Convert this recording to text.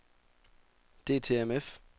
DTMF